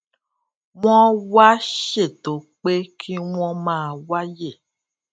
wón wá ṣètò pé kí wón máa wáyè